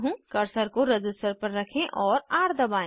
cursor को register पर रखें और र दबाएं